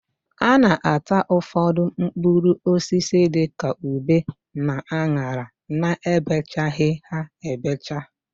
A na-ata ụfọdụ mkpụrụosisi dịka ube na an̄ara na-ebechaghị ha ebecha.